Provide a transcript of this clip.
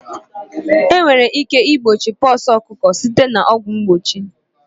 Enwere ike igbochi pox ọkụkọ site na ọgwụ mgbochi